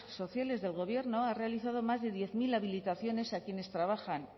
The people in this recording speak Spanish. sociales del gobierno ha realizado más de diez mil habilitaciones a quienes trabajan